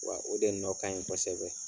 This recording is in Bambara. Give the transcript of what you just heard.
Wa o de nɔ kaɲi kosɛbɛ;